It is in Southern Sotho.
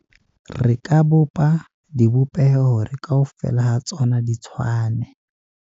Re ka bopa dibopeho hore kaofela ha tsona di tshwane.